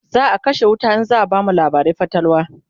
zaa kashe wuta in zaa bamu labarin fatalwa